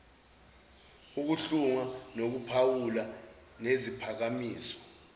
ukuhlunga nokuphawula ngeziphakamiso